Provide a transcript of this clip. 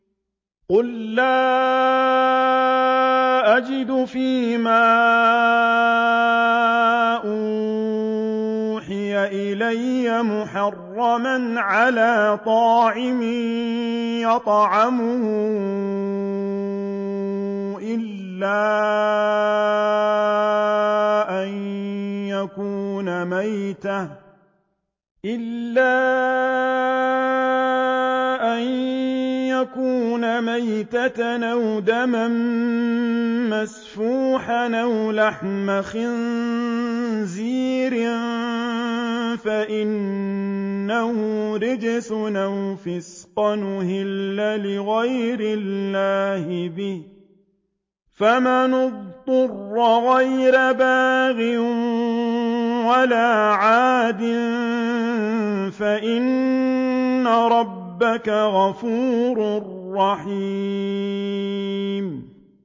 قُل لَّا أَجِدُ فِي مَا أُوحِيَ إِلَيَّ مُحَرَّمًا عَلَىٰ طَاعِمٍ يَطْعَمُهُ إِلَّا أَن يَكُونَ مَيْتَةً أَوْ دَمًا مَّسْفُوحًا أَوْ لَحْمَ خِنزِيرٍ فَإِنَّهُ رِجْسٌ أَوْ فِسْقًا أُهِلَّ لِغَيْرِ اللَّهِ بِهِ ۚ فَمَنِ اضْطُرَّ غَيْرَ بَاغٍ وَلَا عَادٍ فَإِنَّ رَبَّكَ غَفُورٌ رَّحِيمٌ